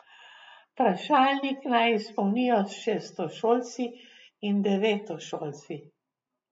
Vprašalnik naj izpolnijo šestošolci in devetošolci.